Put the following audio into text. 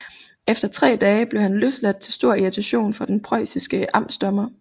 Efter tre dage blev han løsladt til stor irritation for den preussiske amtsdommer